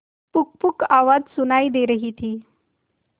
पुकपुक आवाज सुनाई दे रही थी